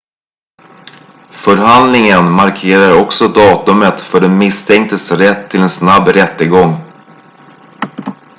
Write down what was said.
förhandlingen markerar också datumet för den misstänktes rätt till en snabb rättegång